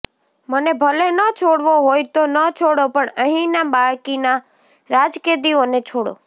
મને ભલે ન છોડવો હોય તો ન છોડો પણ અહીંના બાકીના રાજકેદીઓને છોડો